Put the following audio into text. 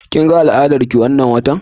Kin ga al'adar ki wannan watan?